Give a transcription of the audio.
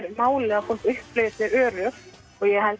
máli að fólk upplifi sig öruggt og ég held að